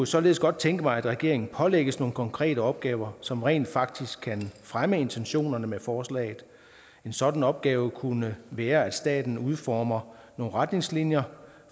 således godt tænke mig at regeringen pålægges nogle konkrete opgaver som rent faktisk kan fremme intentionerne med forslaget en sådan opgave kunne være at staten udformer nogle retningslinjer